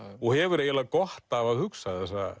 og hefur eiginlega gott af að hugsa þessa